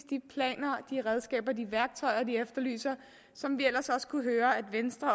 de planer de redskaber og de værktøjer de efterlyser og som vi kunne høre at venstre